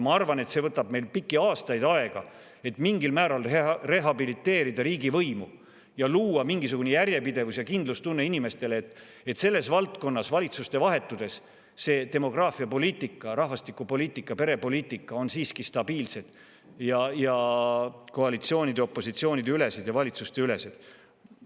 Ma arvan, et see võtab meil pikki aastaid aega, et mingil määral rehabiliteerida riigivõimu ja luua mingisugune järjepidevus ja kindlustunne inimestele, et selles valdkonnas valitsuste vahetudes demograafiapoliitika, rahvastikupoliitika, perepoliitika on siiski stabiilsed ning koalitsiooni- ja opositsiooniülesed ja valitsusteülesed.